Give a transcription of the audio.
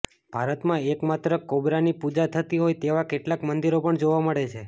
ભારતમાં એકમાત્ર કોબ્રાની પૂજા થતી હોય તેવા કેટલાંક મંદિરો પણ જોવા મળે છે